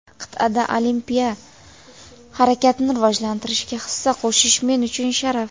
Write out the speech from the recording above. qit’ada olimpiya harakatini rivojlantirishga hissa qo‘shish men uchun sharaf.